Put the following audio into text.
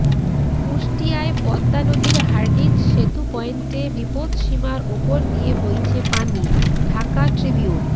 কুষ্টিয়ায় পদ্মা নদীর হার্ডিঞ্জ সেতু পয়েন্টে বিপৎসীমার ওপর দিয়ে বইছে পানি ঢাকা ট্রিবিউন